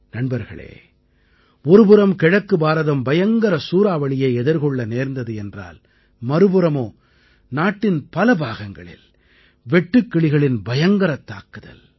நண்பர்களே ஒரு புறம் கிழக்கு பாரதம் பயங்கர சூறாவளியை எதிர்கொள்ள நேர்ந்தது என்றால் மறுபுறமோ நாட்டின் பல பாகங்களில் வெட்டுக்கிளிகளின் பயங்கரத் தாக்குதல்